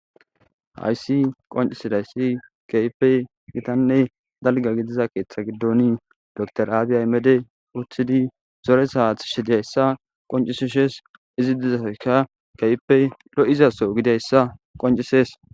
hayssi qoncisidayssi keypey gitanne dalga gidiza keeththa giddon dor aabiyaimede uthidi zore saath shi diyayssa qoncisishes izi dizasaka kepey lo7izaso gidayssa qoncisees